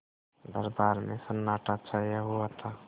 दरबार में सन्नाटा छाया हुआ था